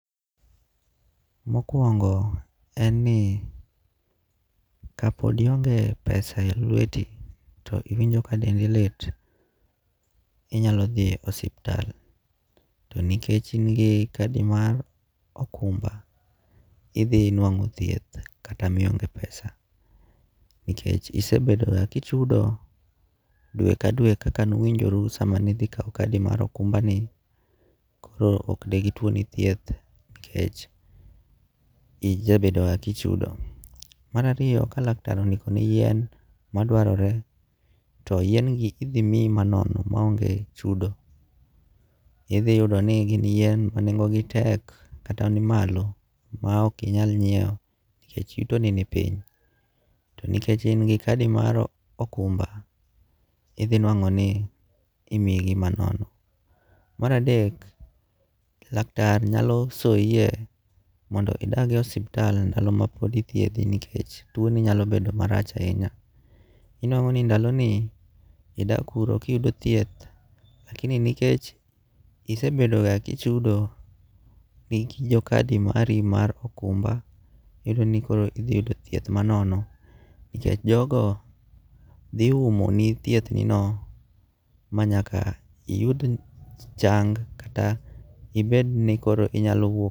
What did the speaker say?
Mokuongo' en ni kapod ionge' pesa e lweti to iwinjo ka dendi lit, inyalo thie osiptal to nikech ingi kadi mar okumba ithinwango' thieth kata mionge' pesa nikech isebedoga kichudo dwe ka dwe kaka nuwinjoru sama ni thi kawo kadi mar okumba ni, koro okdegitwoni thieth nikeche ijabedoga ka ichudo. Marariyo ka laktar ondikoni yien madwarore to yiengi ithimiyi manono maonge' chudo, ithiyudi ni gin yien manengo'gi tek kata nimalo ma ok inyal nyiewo nikech yutoni ni piny to nikech ingi kadi mar okumba ithi nwango' ni imiyigi manono. Maradek laktar nyalo soyie mondo idagie ospital ndalo ma pod ithiethie nikech twoni nyalo bedo macharach ahinya inwango' ni ndaloni idak kuro kiyudo thieth lakini nikech isebedoga kichudo gi kadi mari mar okumba iyudoni koro ithiyudo thieth manono nikech jogo thi umoni thiethnino manyaka iyud chang' kata ibed ni koro inyalo wuok.